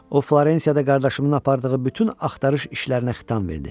O Florensiyada qardaşımın apardığı bütün axtarış işlərinə xitam verdi.